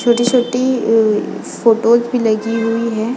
छोटी-छोटी फोटोस भी लगी हुई है।